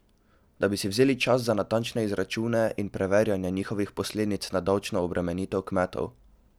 Da bi si vzeli čas za natančne izračune in preverjanje njihovih posledic na davčno obremenitev kmetov?